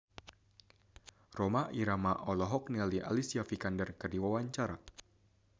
Rhoma Irama olohok ningali Alicia Vikander keur diwawancara